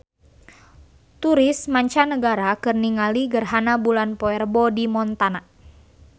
Turis mancanagara keur ningali gerhana bulan poe Rebo di Montana